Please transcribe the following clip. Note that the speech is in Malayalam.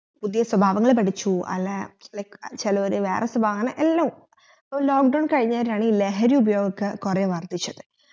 പുതിയ സ്വഭാവങ്ങൾ പഠിച്ചു അല്ലാ like ചേലോര് വേറെ സ്വഭാവ അങ്ങനെ എല്ലു അപ്പൊ lock down കയിഞ്ഞെരാണ് ഈ ലഹരി ഉപയൊക്കെ കൊറേ വർധിച്ചത്